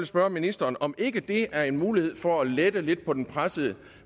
spørge ministeren om ikke det er en mulighed for at lette lidt på den pressede